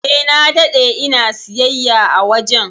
Eh, na dade ina siyayya a wajen.